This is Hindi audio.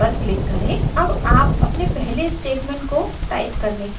अब आप अपने पहले statement को type करने के लिए तैयार हैं